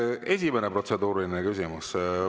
Esimene protseduuriline küsimus.